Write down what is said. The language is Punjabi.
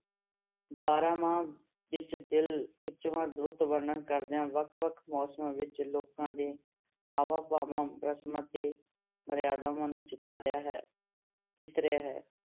ਬਾਰਾਂਮਾਂਹ ਵਿੱਚ ਦਿਲ ਖਿਚਵਾਂ ਰੁੱਤ ਵਰਣਨ ਕਰਦਿਆਂ ਵੱਖ ਵੱਖ ਮੌਸਮਾਂ ਵਿੱਚ ਲੋਕਾਂ ਦੇ ਹਾਵਾਂ-ਭਾਵਾਂ, ਰਸਮਾਂ ਤੇ ਮਰਿਆਦਾਵਾਂ ਨੂੰ ਚਿਤਾਰਿਆ ਹੈ, ਚਿਤਰਿਆ ਹੈ।